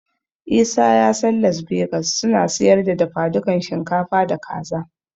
Isa ya san Las Begas suna siyar da dafadukan shinkafa da Kaza.